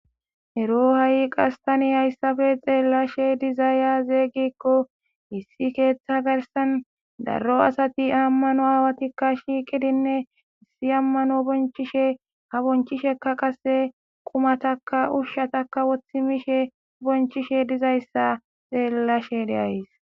Ero ha'i qastani hayssafe xeellashe dizaaya zeeygikko hissi keeththa garsan darro asati ammano aawatikka shiiqidinneissi ammano bonchishe ha bonchisheka qase qumataka ushshatakka wothi mishe bonchishe dizayssa xeellashe deays.